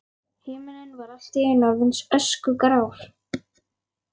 Himinninn var allt í einu orðinn öskugrár.